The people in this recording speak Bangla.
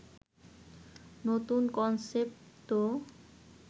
নতুন কনসেপ্ট তো